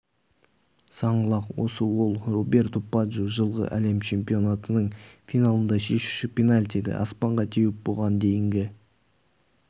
саңлақ осы ол роберто баджо жылғы әлем чемпионатының финалында шешуші пенальтиді аспанға теуіп бұған дейінгі